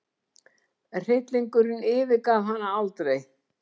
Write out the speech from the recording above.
Hryllingurinn yfirgaf hana aldrei.